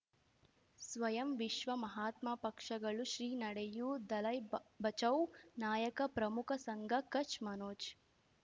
ಸ್ವಯಂ ವಿಶ್ವ ಮಹಾತ್ಮ ಪಕ್ಷಗಳು ಶ್ರೀ ನಡೆಯೂ ದಲೈ ಬ ಬಚೌ ನಾಯಕ ಪ್ರಮುಖ ಸಂಘ ಕಚ್ ಮನೋಜ್